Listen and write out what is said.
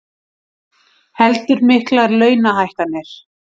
Heldur miklar launahækkanir